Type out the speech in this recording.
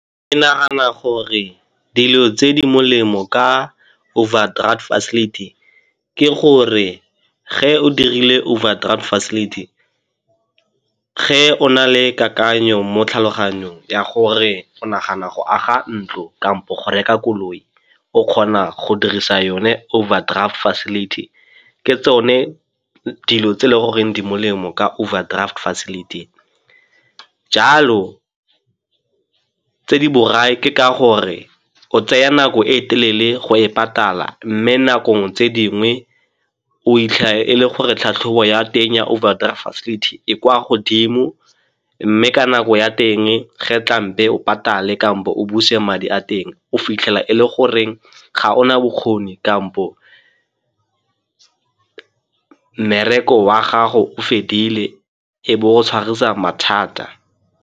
Ke nagana gore dilo tse di molemo ka overdraft facility ke gore ge o dirile overdraft facility, ge o na le kakanyo mo tlhaloganyong ya gore o nagana go aga ntlo kampo go reka koloi o kgona go dirisa yone overdraft facility. Ke tsone dilo tse e le goreng di molemo ka overdraft facility. Jalo tse di borai ke ka gore o tsaya nako e telele go e patala mme nakong tse dingwe o 'itlhela e le gore tlhatlhobo ya teng ya overdraft facility e kwa godimo mme ka nako ya teng ge tlang be o patale kampo o buse madi a teng o fitlhela e le goreng ga o na bokgoni kampo mmereko wa gago o fedile e be o tshwarisa mathata.